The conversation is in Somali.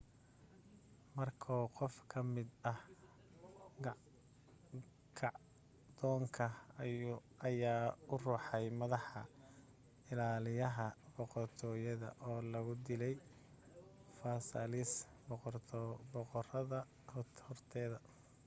markoo qof ka mid ah kacdoonka ayaa u ruxay maddaxa ilaaliyaha boqortooyada oo lagu dilay versailles boqoradda horteeda